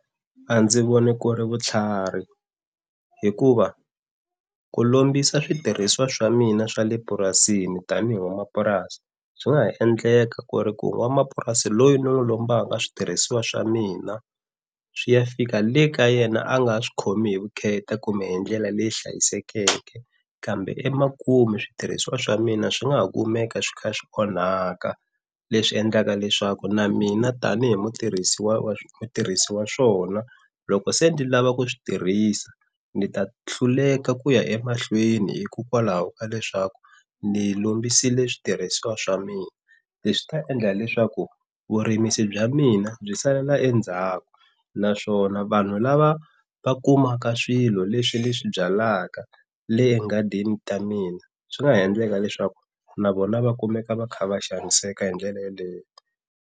A ndzi voni ku ri vutlhari hikuva ku lombisa switirhisiwa swa mina swa le purasini tanihi n'wanamapurasi swi nga ha endleka ku ri ku n'wanamapurasi loyi ni n'wu lombaka switirhisiwa swa mina swi ya fika le ka yena a nga swi khomi hi vukheta kumbe hi ndlela leyi hlayisekeke kambe emakumu switirhisiwa swa mina swi nga ha kumeka swi kha swi onhaka, leswi endlaka leswaku na mina tanihi mutirhisi wa mutirhisi wa swona loko se ndzi lava ku swi tirhisa ni ta hluleka ku ya emahlweni hikokwalaho ka leswaku ni lombisile switirhisiwa swa mina leswi ta endla leswaku vurimisi bya mina byi salela endzhaku, naswona vanhu lava va kumaka swilo leswi leswi byalaka le enghadini ta mina swi nga ha endleka leswaku na vona va kumeka va kha va xaniseka hi ndlela yaleyo.